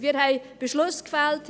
Wir haben Beschlüsse gefällt.